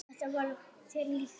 Þetta var þér líkt.